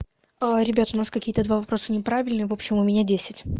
ребят у нас какие-то два вопроса неправильные в общем у меня десять